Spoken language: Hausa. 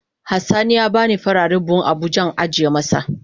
Has sani ya bani farare buhun abuja in ajiye masat.